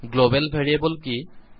global variable কি